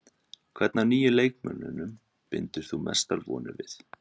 Hvern af nýju leikmönnunum bindur þú mestar vonir við?